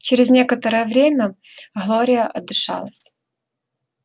через некоторое время глория отдышалась